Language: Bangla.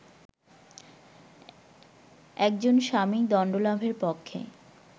একজন স্বামী দণ্ডলাভের পক্ষে